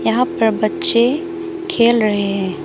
यहां पर बच्चे खेल रहे हैं।